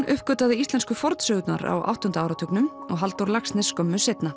uppgötvaði íslensku fornsögurnar á áttunda áratugnum og Halldór Laxness skömmu seinna